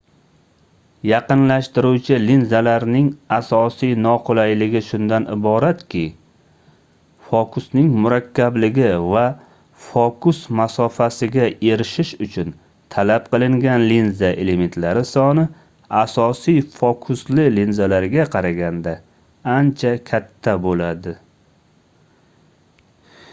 yaqinlashtiruvchi linzalarning asosiy noqulayligi shundan iboratki fokusning murakkabligi va fokus masofasiga erishish uchun talab qilingan linza elementlari soni asosiy fokusli linzalarga qaraganda ancha katta boʻladi